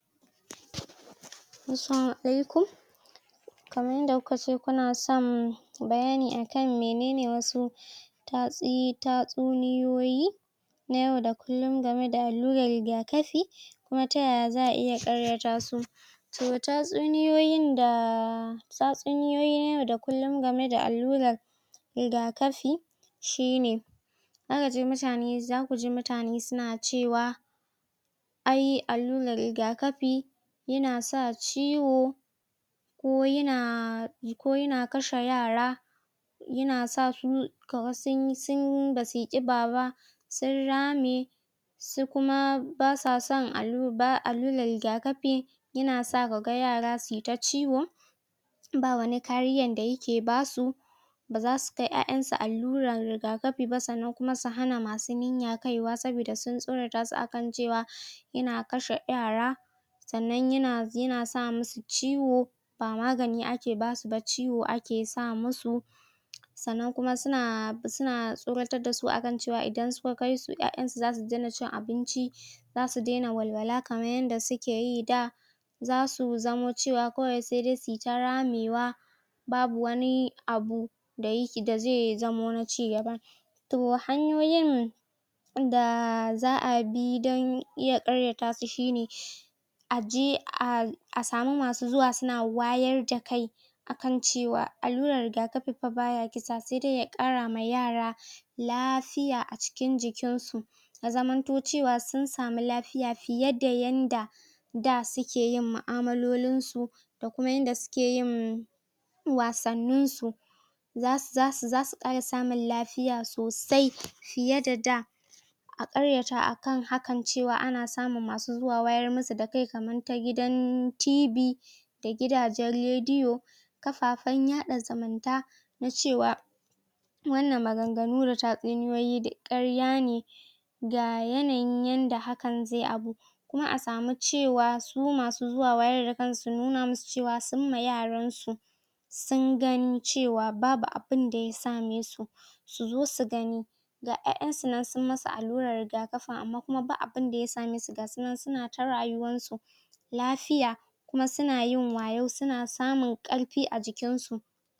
Assalamu alaikum Kaman yanda ku ka ce son bayani akan menene wasu tatsi tatsuniyoyi na yau da kullum game da allurar riga-kafi. Kuma ta yaya za'a iya ƙaryata su. To tatsuniyoyin da tatsuniyoyi na yau da kullum game da allurar riga-kafi, shi ne; Za ka ji mutane, za ku ji mutane su na cewa ai allurar riga-kafi, ya na sa ciwo ko ya na, ko ya na kashe yara, ya na sa su kaman sun yi sun yi ba su yi ƙiba ba sun rame. Sai kuma ba sa son allura, ba allurar riga-kafi ya na sa ka ga yara su yi ta ciwo. Ba wabi kariyan da ya ke basu. Ba za su kai ƴaƴansu allurar riga-kafi ba. Sannan kuma su hana masu niyaka kaiwa. Saboda sun tsorata su akan cewa, ya na kashe yara. Sannan ya na, ya na sa musu ciwo ba magani ake basu ba, ciwo ake sa musu. Sannan kuma su na, su na tsoratar da su akan cewa idan suka kaisu to ƴaƴansu za su daina cin abinci za su daina walwala kaman yanda suke yi da. Za su zamo cewa kawai sai dai su ta ramewa babu wani abu da ya, da zai zamo na cigaba. To hanyoyin da za'a bi don iya ƙarya ta su shi ne aje a a samu masu zuwa su na wayar da kai kan cewa allurar riga-kafi fa ba ya kisa sai dai ya ƙara ma yara lafiya a cikin jikin su. Ya zamanto cewa sun samu la fiya fiye da yanda da suke yin ma'amalolin su da kuma yanda suke yin wasannin su. Za su za su za su ƙara samun lafiya sosai fiye da da. A ƙarya ta kan hakan cewa ana samun masu zuwa wayar musu da kai kaman ta gidan TV da gidajen rediyo, kafafen yaɗa zumunta na cewa wannan magan-ganu da tatsuniyoyi duk ƙarya ne da yanayin yanda haka zai abu. Kuma a samu cewa kuma masu zuwa wayar da kan su nuna musu cewa sun yima yaran su, sun gani cewa babu abunda ya same su. Su zo su gani ga ƴaƴan su nan sun musu allurar riga kafin amma kuma ba abunda ya same su ga su nan su na ta rayuwan su lafiya kuma su na yin wayau, su na samun ƙarfi a jikin su.